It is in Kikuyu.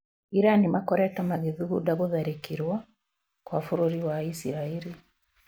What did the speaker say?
Iran makoretwo magĩthugunda gũtharĩkĩrwo gwa bũrũri wa isiraĩri